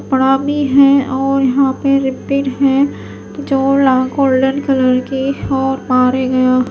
प्रणामी है और यहां पे रहते हैं गोल्डन कलर के और ये--